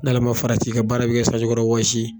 N'ala ma farati i ka baara be kɛ sanji kɔrɔ wɔsi ye.